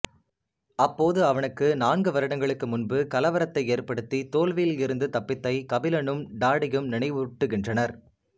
அப்போது அவனுக்கு நான்கு வருடங்களுக்கு முன்பு கலவரத்தை ஏற்படுத்தி தோல்வியில் இருந்து தப்பித்தை கபிலனும் டாடியும் நினைவூட்டுகின்றனர்